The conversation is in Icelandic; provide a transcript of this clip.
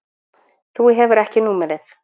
Þú hefur ekki númerið.